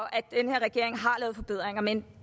at den her regering har lavet forbedringer men